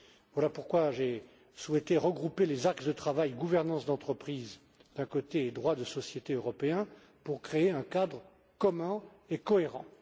Voilà pourquoi j'ai souhaité regrouper les axes de travail gouvernance d'entreprises, d'un côté, et droit des sociétés européen, de l'autre, pour créer un cadre commun et cohérent.